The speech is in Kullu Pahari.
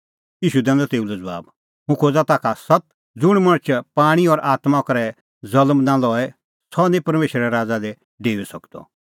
ईशू दैनअ तेऊ लै ज़बाब हुंह खोज़ा ताखा सत्त ज़ुंण मणछ पाणीं और आत्मां करै ज़ल्म नां लए सह निं परमेशरे राज़ा दी डेऊई सकदअ